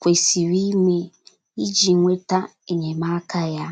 kwesịrị ime iji nweta enyemaka ya?